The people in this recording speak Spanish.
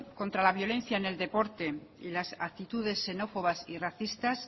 contra la violencia en el deporte y las actitudes xenófobas y racistas